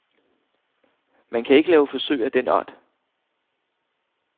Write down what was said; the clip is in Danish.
Man kan ikke lave forsøg af den art.